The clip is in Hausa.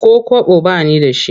Ko kwabo ba ni da shi.